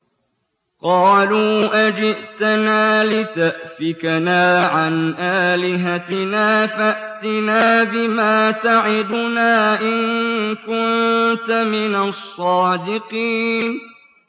قَالُوا أَجِئْتَنَا لِتَأْفِكَنَا عَنْ آلِهَتِنَا فَأْتِنَا بِمَا تَعِدُنَا إِن كُنتَ مِنَ الصَّادِقِينَ